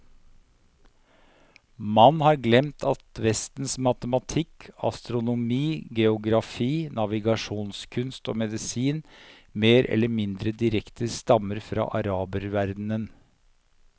Man har glemt at vestens matematikk, astronomi, geografi, navigasjonskunst og medisin mer eller mindre direkte stammer fra araberverdenen.